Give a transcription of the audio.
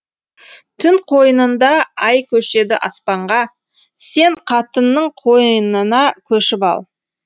түн қойнында ай көшеді аспанға сен қатынның қойынына көшіп ал